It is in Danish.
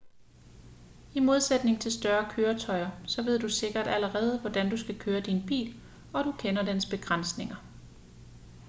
i modsætning til større køretøjer så ved du sikkert allerede hvordan du skal køre din bil og du kender dens begrænsninger